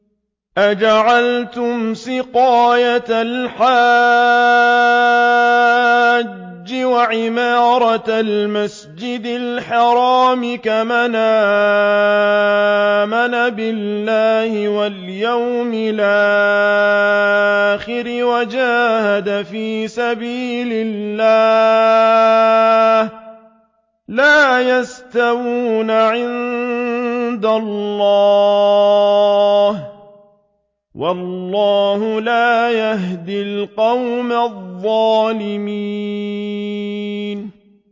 ۞ أَجَعَلْتُمْ سِقَايَةَ الْحَاجِّ وَعِمَارَةَ الْمَسْجِدِ الْحَرَامِ كَمَنْ آمَنَ بِاللَّهِ وَالْيَوْمِ الْآخِرِ وَجَاهَدَ فِي سَبِيلِ اللَّهِ ۚ لَا يَسْتَوُونَ عِندَ اللَّهِ ۗ وَاللَّهُ لَا يَهْدِي الْقَوْمَ الظَّالِمِينَ